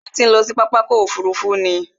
Ṣé o ti ń lọ sí pápá ọkò òfurufú ni?